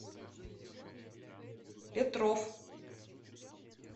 петров